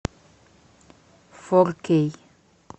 фор кей